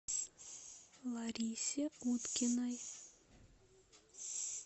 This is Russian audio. ларисе уткиной